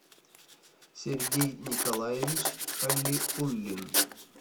сергей николаевич халиуллин